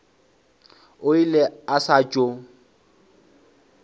o ile a sa tšo